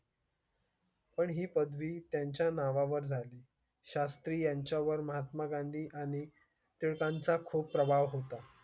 पण ही पदवी त्यांच्या नावावर झाले. शास्त्री यांच्या वर महात्मा गांधी आणि टिळकांचा खूप प्रभाव होता.